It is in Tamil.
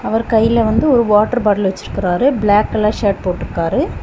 அவர் கையில வந்து ஒரு வாட்டர் பாட்டில் வச்சிருக்காரு பிளாக் கலர் ஷர்ட் போட்டு இருக்கிறார்.